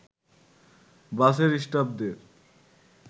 বাসের স্টাফদের